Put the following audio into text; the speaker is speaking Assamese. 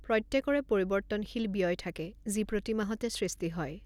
প্ৰত্যেকৰে পৰিৱৰ্তনশীল ব্যয় থাকে যি প্ৰতি মাহতে সৃষ্টি হয়।